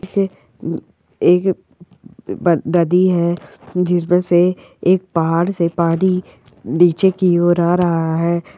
है एक ब नदी है जिसमे से एक पहाड़ से पानी नीचे की ओर आ रहा है।